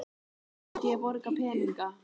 Svo myndi ég borga peninga